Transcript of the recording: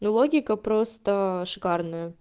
и логика просто шикарная